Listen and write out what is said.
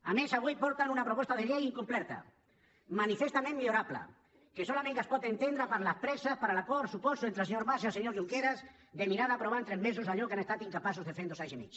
a més avui porten una proposta de llei incompleta manifestament millorable que solament es pot entendre per les presses per l’acord suposo entre el senyor mas i el senyor junqueras de mirar d’aprovar en tres mesos allò que han estat incapaços de fer en dos anys i mig